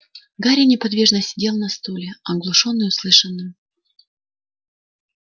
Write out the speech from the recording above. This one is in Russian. гарри неподвижно сидел на стуле оглушённый услышанным